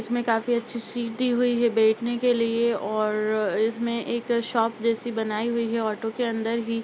इसमें काफी अच्छी सिटी हुई है बैठने के लिए और अ इसमें एक शॉप जैसी बनाई हुई है ऑटो के अंदर ही।